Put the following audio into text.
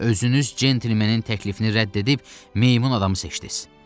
Özünüz centlemenin təklifini rədd edib meymun adamı seçdiz.